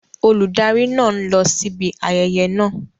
Olùdarí náà ń lọ síbi ayẹyẹ náà.